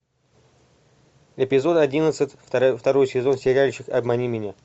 эпизод одиннадцать второй сезон сериальчик обмани меня